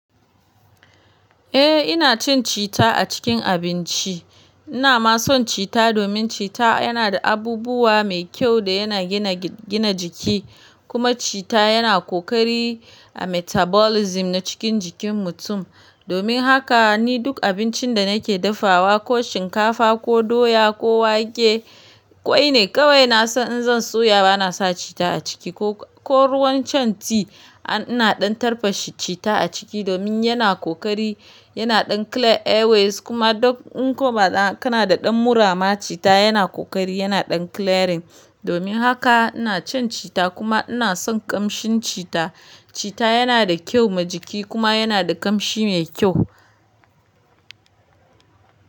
Eh ina cin cita a cikin abinci. Ina ma son cita domin cita yana da abubuwa mai kyau da yana gina gi gina jiki kuma cita yana kokari a metabolism na cikin jikin mutum. Domin haka ni duk abincin da nake dafawa ko shinkafa ko doya ko wake, kwai ne kawai na san in zan soya bana sa cita a ciki ko ruwan can tea ina ɗan tarfashe cita a ciki domin yana kokari, yana ɗan clear airways kuma duk in kuma kana da ɗan murama cita yana kokari yana ɗan clearing. Domin haka ina cin cita kuma ina son ƙamshin cita. Cita yana da kyau ma jiki kuma yana da ƙamshi mai kyau.